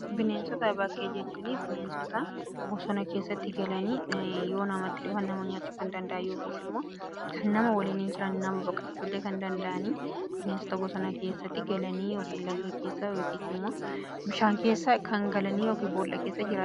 Bineensota bakkee jechuun bineensota bosona keessatti galanii yoo namatti dhufan nama nyaachuu kan danda'an yookiis immoo kan nama waliin hin jiraanne nama baqachuu illee kan danda'an, bineensota bosona keessatti galanii yookiin laga keessa yookiis immoo bishaan keessa kan galanii yookiis bool'aa keessa jiraatanidha.